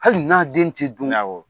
Hali n'a den tɛ dun. Awɔ.